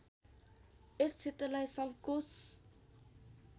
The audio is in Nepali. यस क्षेत्रलाई सङ्कोश